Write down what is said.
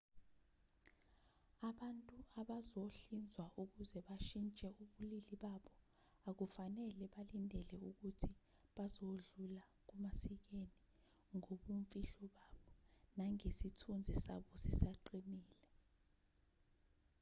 abantu abazohlinzwa ukuze bashintshe ubulili babo akufanele balindele ukuthi bazodlula kumasikena ngobumfihlo babo nangesithunzi sabo sisaqinile